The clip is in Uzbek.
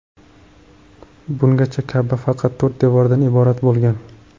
Bungacha Ka’ba faqat to‘rt devordan iborat bo‘lgan.